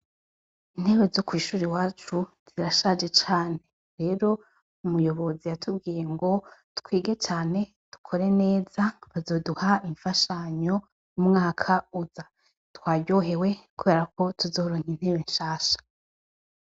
Intebe zo kw'ishuri wacu zirashaje cane rero umuyobozi yatubwiye ngo twige cane dukore neza bazoduha imfashanyo umwaka uza twayohewe, kubera ko tuzoronka intebe nshasha.